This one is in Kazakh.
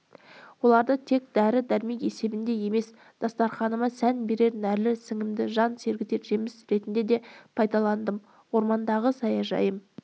оларды тек дәрі-дәрмек есебінде емес дастарқаныма сән берер нәрлі сіңімді жан сергітер жеміс ретінде де пайдаландым ормандағы саяжайым